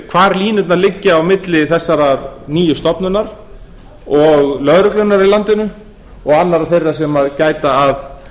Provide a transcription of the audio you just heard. hvar línurnar liggja á milli þessarar nýju stofnunar og lögreglunnar í landinu og annarra þeirra sem gæta að